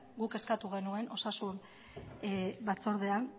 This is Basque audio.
guk eskatu genuen osasun batzordean